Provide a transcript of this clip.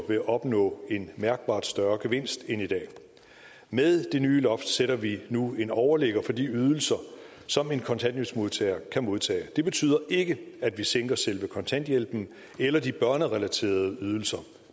vil opnå en mærkbart større gevinst end i dag med det nye loft sætter vi nu en overligger for de ydelser som en kontanthjælpsmodtager kan modtage det betyder ikke at vi sænker selve kontanthjælpen eller de børnerelaterede ydelser